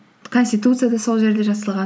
конституция да сол жерде жасалған